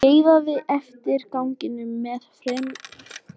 Skeiðaði eftir ganginum með fremur takmarkað útsýni.